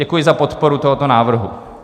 Děkuji za podporu tohoto návrhu.